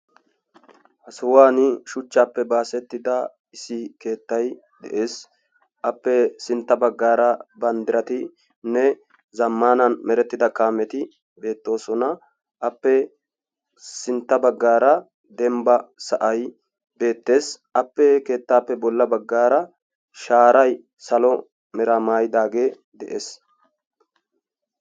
ha sohuwani shuchaappe baasettida issi keettay de'ees. appe sintta bagaara banddiratinne zamaana merettida kameti beetoosona.